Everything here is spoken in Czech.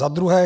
Za druhé.